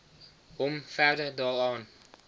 hom verder daaraan